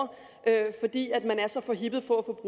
fordi man er så forhippet på